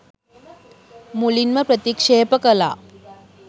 මුලින්ම ප්‍රතික්ෂේප කළා.